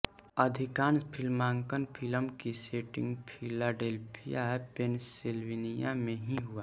अधिकांश फिल्मांकन फिल्म की सेटिंग फिलाडेल्फिया पेनसिल्वेनिया में ही हुआ